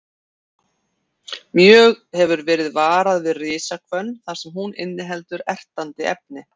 Mjög hefur verið varað við risahvönn þar sem hún inniheldur ertandi efni.